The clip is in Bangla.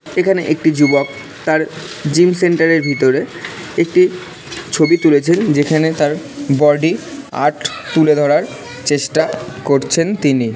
এখানে একটি যুবক তার জিম সেন্টার এর ভিতরে একটি ছবি তুলেছেন যেখানে তার বডি আর্ট তুলে ধরার চেষ্টা করছেন তিনি। ।